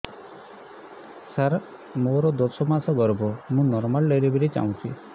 ସାର ମୋର ଦଶ ମାସ ଗର୍ଭ ମୁ ନର୍ମାଲ ଡେଲିଭରୀ ଚାହୁଁଛି